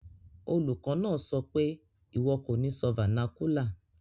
Olùkó náà sopé, "ìwọ ko ni sọ vernacular